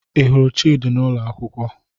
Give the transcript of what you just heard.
Ị hụrụ Chidi n'ụlọ akwụkwọ?